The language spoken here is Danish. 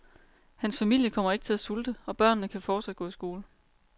Hans familie kommer ikke til at sulte, og børnene kan fortsat gå i skole.